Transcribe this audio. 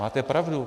Máte pravdu.